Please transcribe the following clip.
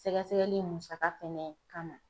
Sɛgɛsɛgɛli musaka fɛnɛ kama